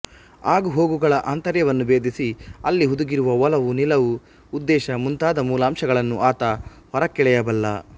ಆಗುಹೋಗುಗಳ ಆಂತರ್ಯವನ್ನು ಭೇದಿಸಿ ಅಲ್ಲಿ ಹುದುಗಿರುವ ಒಲವು ನಿಲುವು ಉದ್ದೇಶ ಮುಂತಾದ ಮೂಲಾಂಶಗಳನ್ನು ಆತ ಹೊರಕ್ಕೆಳೆಯಬಲ್ಲ